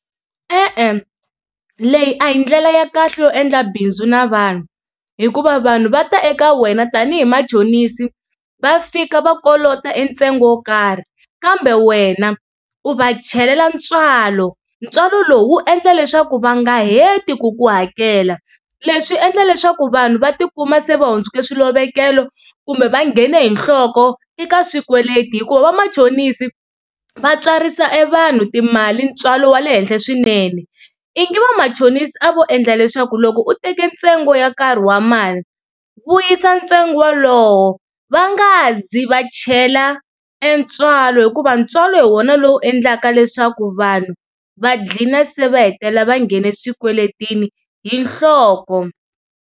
E-e leyi a hi ndlela ya kahle yo endla bindzu na vanhu hikuva vanhu va ta eka wena tanihi machonisi va fika va kolota e ntsengo wo karhi kambe wena u va chelela ntswalo ntswalo lowu wu endla leswaku va nga heti ku ku hakela leswi endla leswaku vanhu va tikuma se va hundzuka swilovekelo kumbe va nghene hi nhloko eka swikweleti hikuva vamachonisi va tswarisa e vanhu timali ntswalo wa le henhla swinene ingi va machonisi a vo endla leswaku loko u teke ntsengo ya karhi wa mali vuyisa ntsengo walowo va nga zi va chela e ntswalo hikuva ntswalo hi wona lowu endlaka leswaku vanhu va gcina se va hetelela va nghena swikweletini hi nhloko.